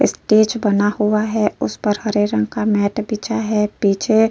stage बना हुआ है उस पर हरे रंग का मैट बिछा है पीछे --